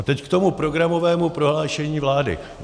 A teď k tomu programovému prohlášení vlády.